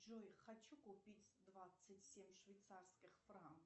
джой хочу купить двадцать семь швейцарских франков